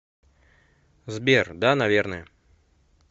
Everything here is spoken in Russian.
сбер да наверное